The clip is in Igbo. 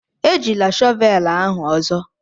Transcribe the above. Ejila shọvelu ahu ozo.